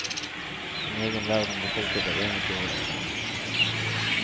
En egen verden befolket av eventyrvesener.